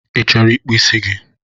Ị chọrọ ịkpụ isi gi?